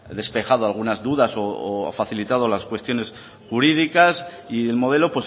despejado algunas dudas o facilitado las cuestiones jurídicas y el modelo